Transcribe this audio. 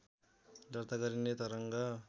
दर्ता गरिने तरङ्ग